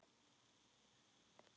Ég veit ekki hvað